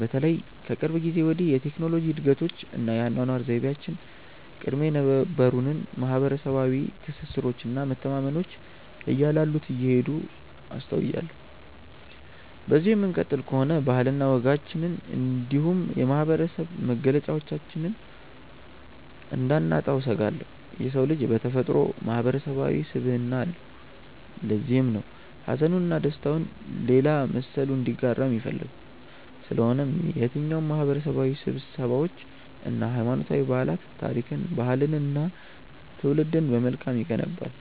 በተለይም ከቅርብ ጊዜ ወዲህ የቴክኖሎጂ እድገቶች እና የአኗኗር ዘይቤያችን ቀድሞ የነበሩንን ማህበረሰባዊ ትስስሮች እና መተማመኖች እያላሉት እንደሄዱ አስተውያለሁ። በዚሁ የምንቀጥል ከሆነ ባህልና ወጋችንን እንዲሁም የማህበረሰብ መገለጫችንን እንዳናጣው እሰጋለሁ። የሰው ልጅ በተፈጥሮው ማህበረሰባዊ ስብዕና አለው። ለዚህም ነው ሀዘኑን እና ደስታውን ሌላ መሰሉ እንዲጋራው የሚፈልገው። ስለሆነም የትኛውም ማህበረሰባዊ ስብሰባዎች እና ሀይማኖታዊ በዓላት ታሪክን፣ ባህልንን እና ትውልድን በመልካም ይገነባል።